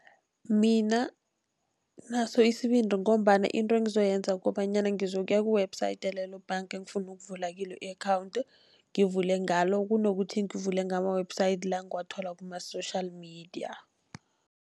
Mina nginaso isibindi, ngombana into engizoyenza kukobanyana ngizokuya ku-website yalelo bank engifuna ukuvula kilo i-account ngivule ngalo, kunokuthi ngivule ngama-website la ngiwathola kuma-social media.